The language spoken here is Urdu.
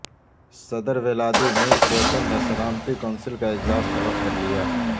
صدر ولادی میر پوتن نے سلامتی کونسل کا اجلاس طلب کر لیا